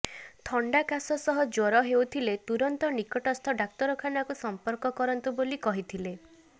ଥଣ୍ଡା କାଶ ସହ ଜ୍ବର ହେଉଥିଲେ ତୁରନ୍ତ ନିକଟସ୍ଥ ଡାକ୍ତରଖାନା କୁ ସମ୍ପର୍କ କରନ୍ତୁ ବୋଲି କହିଥିଲେ